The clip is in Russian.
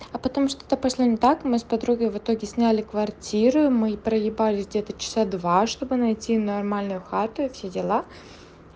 а потом что-то пошло не так мы с подругой в итоге сняли квартиру и мы проебались где-то часа два чтобы найти нормальную хату и все дела